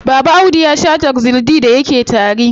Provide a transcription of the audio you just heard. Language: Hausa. Baba Audu ya shaa Tuxil D da yake tari.